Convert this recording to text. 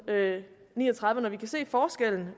ni og tredive når vi kan se en forskel